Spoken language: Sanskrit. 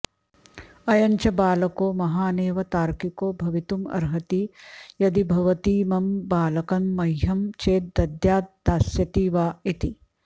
अयञ्च बालको महानेव तार्किको भवितुमर्हति यदि भवतीमं बालकं मह्यं चेद् दद्याद् दास्यति वा इति